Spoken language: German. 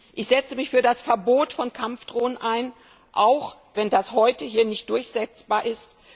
Ich setze mich für das Verbot von Kampfdrohnen ein, und zwar auch, wenn das heute hier nicht durchsetzbar ist.